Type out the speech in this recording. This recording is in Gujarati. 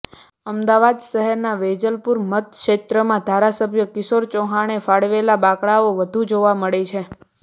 અમદાવાદ શહેરના વેજલપુર મતક્ષેત્રમાં ધારાસભ્ય કિશોર ચૌહાણે ફાળવેલા બાંકડાઓ વધુ જોવા મળે છે